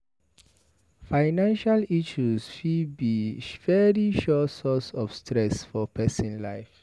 Financial issues fit be very sure source of stress for person life